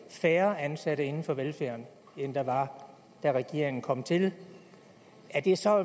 færre ansatte inden for velfærden end der var da regeringen kom til er det så